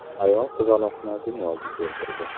Ayol qizaloqni dunyoga keltirdi.